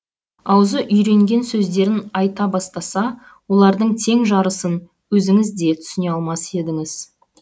аузы үйренген сөздерін айта бастаса олардың тең жарысын өзіңіз де түсіне алмас едіңіз